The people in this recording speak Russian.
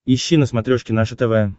ищи на смотрешке наше тв